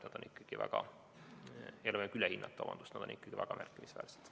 Need on ikkagi väga märkimisväärsed.